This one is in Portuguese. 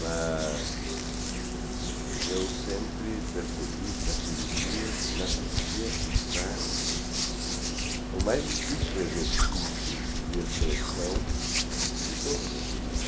Mas eu sempre percebi que a pessoa na poesia está o mais difícil exercício de expressão de todas as línguas.